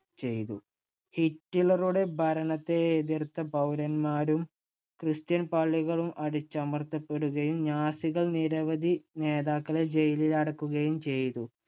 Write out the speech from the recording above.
ചെയ്തു. ഹിറ്റ്‌ലറുടെ ഭരണത്തെ എതിർത്ത പൗരന്മാരും christian പള്ളികളും അടിച്ചമർത്തപ്പെടുകയും നാസികൾ നിരവധി നേതാക്കളെ ജയിലിലടയ്ക്കുകയും ചെയ്തു.